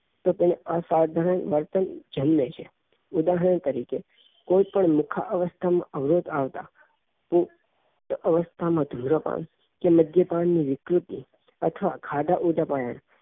તો તેને અસાધારણ વર્તન જન્મે છે ઉદાહરણ તરીકે કોઈ પણ મુખાઅવસ્થા અવરોધ આવતા એ અવસ્થા માં ધુમ્રપાન કે મદ્યપાન ની વિકૃતિ અથવા ખાધા